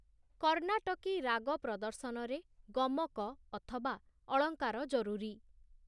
କର୍ଣ୍ଣାଟକୀ ରାଗ ପ୍ରଦର୍ଶନରେ ଗମକ ଅଥବା ଅଳଙ୍କାର ଜରୁରୀ ।